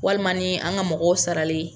Walima ni an ka mɔgɔw sarali ye.